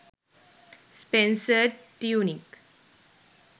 spencer tunick